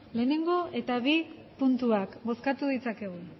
bat eta bi puntuak bozkatu dezakegu